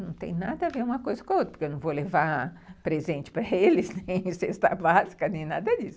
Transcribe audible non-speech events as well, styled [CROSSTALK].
Não tem nada a ver uma coisa com a outra, [LAUGHS] porque eu não vou levar presente para eles, nem cesta básica, [LAUGHS] nem nada disso. [LAUGHS]